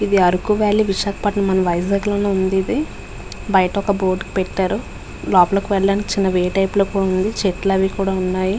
ఇది అరకు వాలి . విశాఖపట్నం మన వైజాగ్ లోనే ఉంది ఇది. బయట ఒక బోర్డు పెట్టారు. లోపలకి వెళ్ళటానికి చిన్న వే టైపు లో ఉంది. చెట్లు అవి కూడా ఉన్నాయి.